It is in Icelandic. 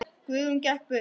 Guðrún gekk burt.